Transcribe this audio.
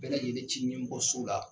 Bɛɛ lajɛlen cilen kɔ so la !